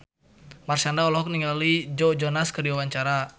Marshanda olohok ningali Joe Jonas keur diwawancara